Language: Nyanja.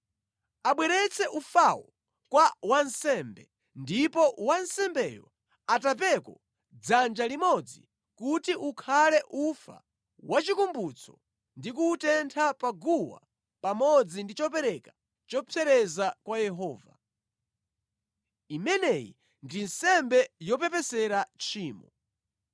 Abweretse ufawo kwa wansembe ndipo wansembeyo atapeko dzanja limodzi kuti ukhale ufa wachikumbutso ndi kuwutentha pa guwa pamodzi ndi chopereka chopsereza kwa Yehova. Imeneyi ndi nsembe yopepesera tchimo.